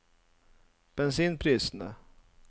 bensinprisene